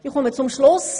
Ich komme zum Schluss: